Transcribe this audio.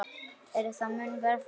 Er það mun verr farið.